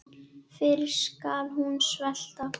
Fyrr skal hún svelta.